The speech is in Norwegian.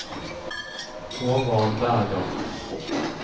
Håvard Berger